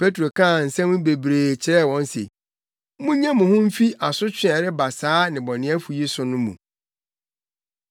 Petro kaa nsɛm bebree kyerɛɛ wɔn se, “Munnye mo ho mfi asotwe a ɛreba saa nnebɔneyɛfo yi so no mu.”